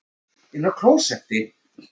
Njótum þeirrar gleði sem lengst.